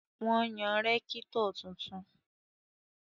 Wọ́n yan rẹ́kítọ̀ tuntun